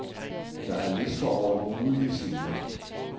Der er lister over mulige scener.